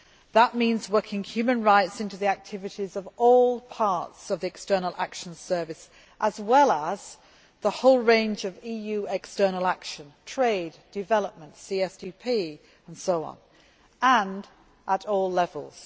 That means working human rights into the activities of all parts of the External Action Service, as well as the whole range of EU external action trade, development, CSDP and so on, and at all levels.